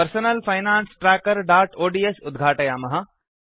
personal finance trackerओड्स् उद्घाटयामः